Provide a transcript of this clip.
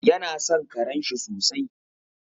Yana son karenshi sosai.